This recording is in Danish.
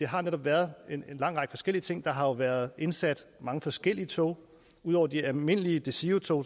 har været en lang række forskellige ting der har jo været indsat mange forskellige tog og ud over de almindelige desirotog